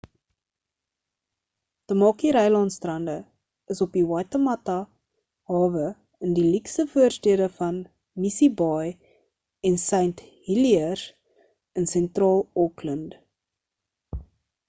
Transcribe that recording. tamaki rylaan strande is op die waitemata hawe in die luukse voorstede van missie baai en st heliers in sentraal auckland